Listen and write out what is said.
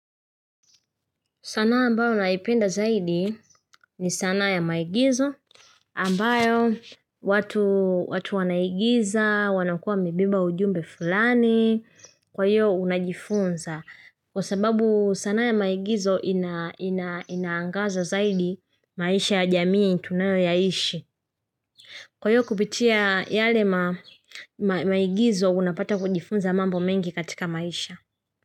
Sanaa ambayo naipenda zaidi ni sanaa ya maigizo ambayo watu wanaigiza, wanakuwa wamebeba ujumbe fulani, kwa hiyo unajifunza. Kwa sababu sanaa ya maigizo inaangaza zaidi maisha ya jamii tunayoyaishi. Kwa hiyo kupitia yale maigizo unapata kujifunza mambo mengi katika maisha.